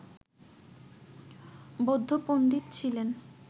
বৌদ্ধ পন্ডিত ছিলেন